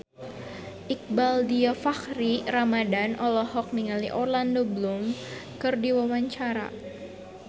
Iqbaal Dhiafakhri Ramadhan olohok ningali Orlando Bloom keur diwawancara